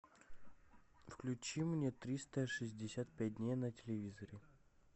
включи мне триста шестьдесят пять дней на телевизоре